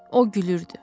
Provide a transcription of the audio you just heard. O gülürdü.